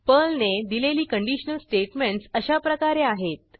पर्लने दिलेली conditional statements अशाप्रकारे आहेत